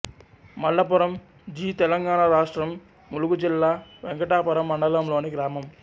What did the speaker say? మల్లపురం జి తెలంగాణ రాష్ట్రం ములుగు జిల్లా వెంకటాపురం మండలంలోని గ్రామం